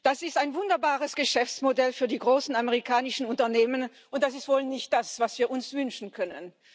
Das ist ein wunderbares Geschäftsmodell für die großen amerikanischen Unternehmen, und das ist wohl nicht das, was wir uns wünschen können.